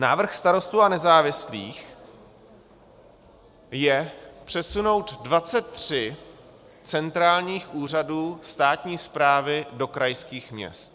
Návrh Starostů a nezávislých je přesunout 23 centrálních úřadů státní správy do krajských měst.